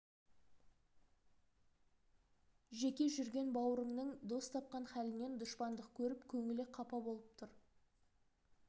жеке жүрген бауырыңның дос тапқан халінен дұшпандық көріп көңілі қапа болып тұр